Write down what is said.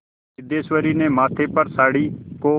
सिद्धेश्वरी ने माथे पर साड़ी को